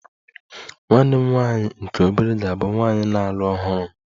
Nwanne m nwanyị nke obere ga-abụ nwanyị na-alụ ọhụrụ m